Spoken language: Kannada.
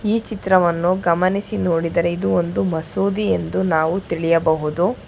ಈ ಚಿತ್ರವನ್ನು ಗಮನಿಸಿ ನೋಡಿದರೆ ಇದು ಒಂದು ಮಸೂದಿ ಎಂದು ನಾವು ತಿಳಿಯಬಹುದು--